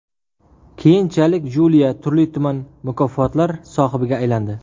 Keyinchalik Julia turli-tuman mukofotlar sohibiga aylandi.